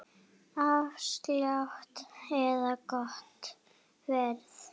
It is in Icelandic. Afslátt eða gott verð?